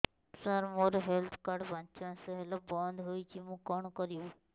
ସାର ମୋର health card ପାଞ୍ଚ ମାସ ହେଲା ବଂଦ ହୋଇଛି ମୁଁ କଣ କରିବି